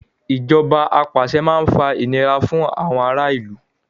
Ìjọba apàṣẹ máa ń fa ìnira fún ará ìlú.